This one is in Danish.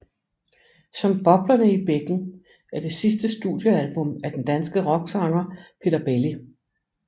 Som boblerne i bækken er det sidste studiealbum af den danske rocksanger Peter Belli